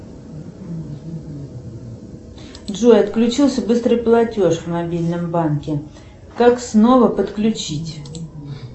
джой отключился быстрый платеж в мобильном банке как снова подключить